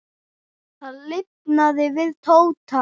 Það lifnaði yfir Tóta.